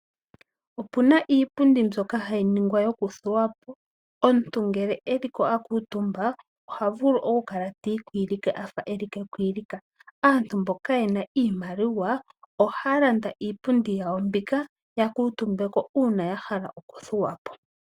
Opu iipundi mbyoka hayi ningwa yoku thuwa po. Omuntu ngele eliko a kuutumba oha vulu oku kala tiikwilika a fa eli kekwilika . Aantu mboka ye na iimaliwa oha landa iipundi yawo mbika ya ka mutumba uuna ya hala okuthuwa po.